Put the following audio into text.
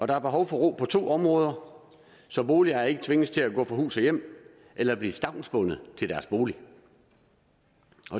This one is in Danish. der er behov for ro på to områder så boligejere ikke tvinges til at gå fra hus og hjem eller blive stavnsbundet til deres bolig